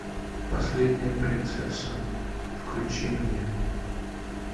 последняя принцесса включи мне